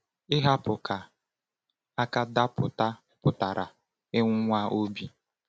Ihapụ ka aka daa pụta pụtara ịnwụnwa obi.